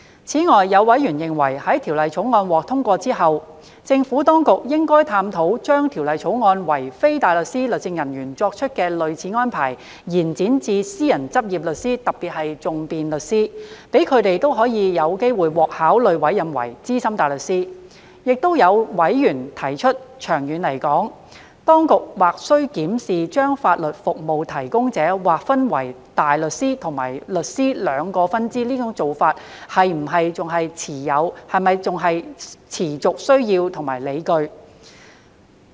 此外，有委員認為在《條例草案》獲通過後，政府當局應探討將《條例草案》為非大律師律政人員作出的類似安排延展至私人執業律師，讓他們也可有機會獲考慮委任為資深大律師。亦有委員提出，長遠而言，當局或需檢視將法律服務提供者劃分為大律師及律師兩個分支這種做法是否有持續需要及理據。